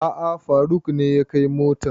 A'a faruk ne ya kai motan